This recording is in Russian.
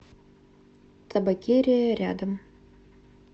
табакерия рядом